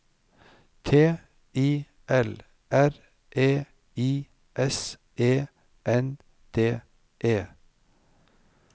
T I L R E I S E N D E